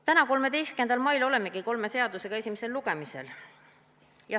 Täna, 13. mail olemegi kolme seadusega esimesel lugemisel.